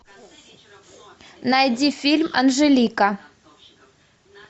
найди фильм анжелика